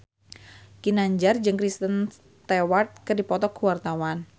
Ginanjar jeung Kristen Stewart keur dipoto ku wartawan